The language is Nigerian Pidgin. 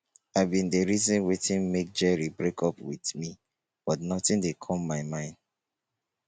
i bin dey reason wetin make jerry break up with me but nothing dey come my mind